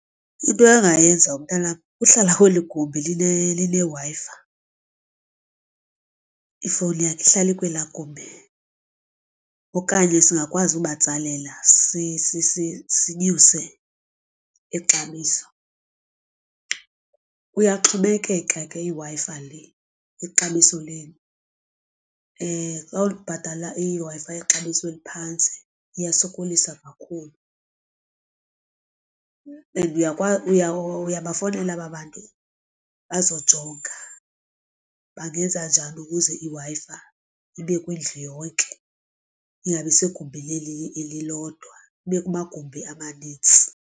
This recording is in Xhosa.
Into angayenza umntanam kuhlala kweli gumbi lineWi-Fi ifowuni yakhe ihlale kwela gumbi. Okanye singakwazi ubatsalela sinyuse ixabiso, kuyaxhomekeka ke iWi-Fi le ixabiso ubhatala iWi-Fi yexabiso eliphantsi iyasokolisa kakhulu. And uyakwazi uyabafowunela aba bantu bazojonga bangenza njani ukuze iWi-Fi ibe kwindlu yonke ingabi segumbini elilodwa ibe kumagumbi amanintsi.